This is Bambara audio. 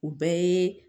O bɛɛ ye